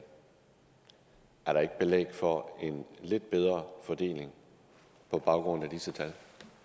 er der ikke belæg for en lidt bedre fordeling på baggrund af disse tal